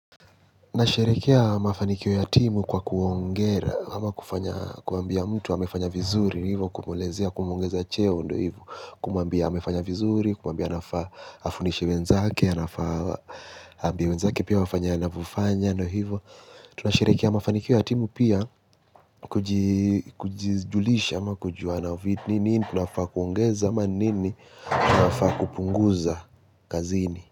Nasherekea mafanikio ya timu kwa kuongera ama kufanya kuambia mtu amefanya vizuri hivyo kumuelezea kumuongezea cheo ndo hivyo. Kumwambia amefanya vizuri kumwambia anafaa afundishe wenzake anafaa aambia wenzake pia wafanye anavofanya ndo hivyo. Tunasherekea mafanikio ya timu pia kwa kujizulisha ama kujuanavi nini tunafaa kuongeza ama nini tunafaa kupunguza kazini.